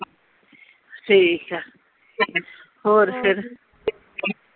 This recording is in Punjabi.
ਠੀਕ ਆ ਹੋਰ ਫਿਰ